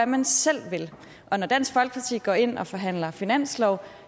man selv vil og når dansk folkeparti går ind og forhandler finanslov